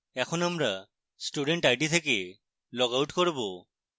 এখন আমরা student id থেকে log out করব